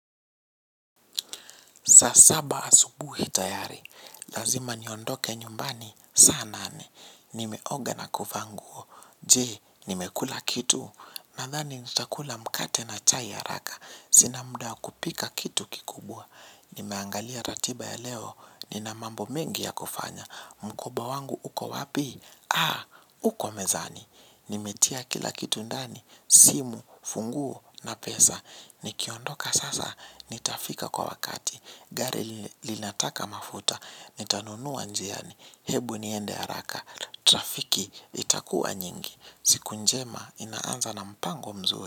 Saa saba asubuhi tayari, lazima niondoke nyumbani, saa nane, nimeoga na kuvaa nguo je, nimekula kitu, nadhani nitakula mkate na chai haraka, sina muda wa kupika kitu kikubwa, nimeangalia ratiba ya leo, nina mambo mengi ya kufanya, mkoba wangu uko wapi? Haa, uko mezani. Nimetia kila kitu ndani. Simu, funguo na pesa nikiondoka sasa nitafika kwa wakati. Gari linataka mafuta. Nitanunua njiani. Hebu niende haraka. Trafiki itakuwa nyingi siku njema inaanza na mpango mzuri.